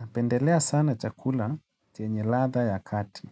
Napendelea sana chakula chenye ladha ya kati.